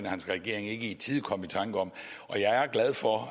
og hans regering ikke i tide kom i tanker om jeg er glad for